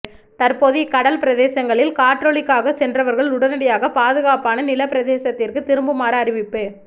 தற்போது இக்கடல் பிரதேசங்களில் கடற்றொழிலுக்காக சென்றவர்கள் உடனடியாக பாதுகாப்பான நிலப் பிரதேசத்திற்கு திரும்புமாறு அறிவிப்பு